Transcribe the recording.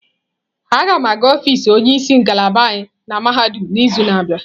A ga m aga ọfịs onye isi ngalaba anyị na mahadum n'izu na-abịa.